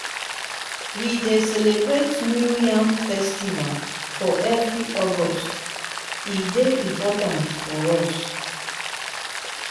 we dey celebrate new yam festival every august; e dey important for us.